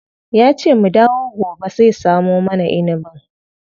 Yace mu dawo gobe zai samo mana inibin.